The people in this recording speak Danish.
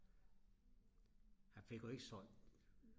han fik jo ikke solgt